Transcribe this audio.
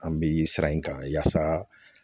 An bɛ sira in kan yaasa